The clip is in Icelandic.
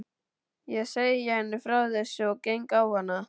Ég segi henni frá þessu og geng á hana.